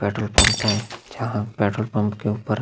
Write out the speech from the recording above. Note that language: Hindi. पेट्रोल पंप है जहाँ पेट्रोल पंप के ऊपर --